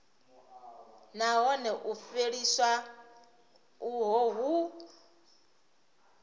nahone u fheliswa uho hu